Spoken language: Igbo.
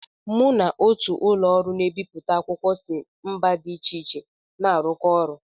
Mụ na otù ụlọ ọrụ na-ebipụta akwụkwọ si mba dị iche iche na-arụkọ ọrụ.